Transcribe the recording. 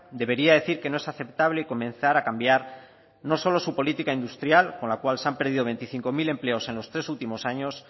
debería decir que no es aceptable comenzar a cambiar no solo su política industrial con la cual se han perdido veinticinco mil empleos en los tres últimos años